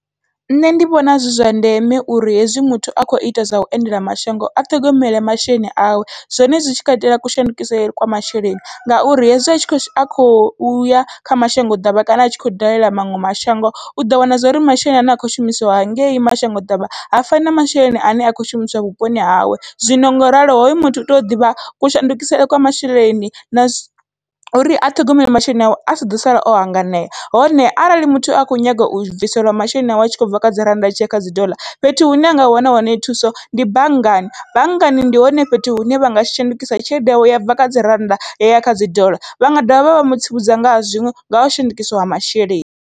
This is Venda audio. Nṋe ndi vhona zwi zwa ndeme uri hezwi muthu a kho ita zwa u endela mashango a ṱhogomele masheleni awe, zwone zwi tshi khou itela kushandukele kwa masheleni ngauri hezwi atshi khou ya kha mashango ḓavha kana atshi khou dalela maṅwe mashango uḓo wana zwori masheleni ane a kho shumisiwa hangei mashango ḓavha ha fani na masheleni ane a khou shumiswa vhuponi hawe. Zwino ngoralo hoyo muthu u tea u ḓivha kushandukisele kwa masheleni na uri a ṱhogomele masheleni awe asi ḓo sala o hanganea, hone arali muthu a kho nyaga u bviselwa masheleni awe atshi kho bva kha dzi rannda a tshiya kha dzi doḽa fhethu hune anga wana hone thuso ndi banngani, banngani ndi hone fhethu hune vha nga shandukisa tshelede yawe yabva kha dzi rannda ya ya kha dzi doḽa vha nga dovha vha vha mutsivhudza ngaha zwiṅwe ngau shandukiswa ha masheleni.